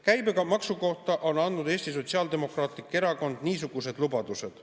Käibemaksu kohta on Sotsiaaldemokraatlik Erakond andnud niisugused lubadused.